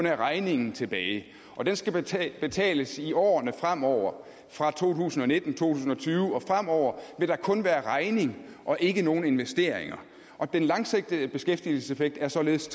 er regningen tilbage og den skal betales betales i årene fremover fra to tusind og nitten to tusind og tyve og fremover vil der kun være regning og ikke nogen investeringer og den langsigtede beskæftigelseseffekt er således